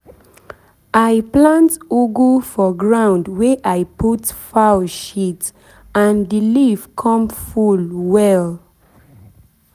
i plant ugu for ground wey i put fowl shit and the leaf come full come full well.